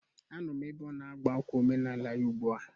Anọ m ebe ọ na-agba akwụkwọ omenala ya ugbu a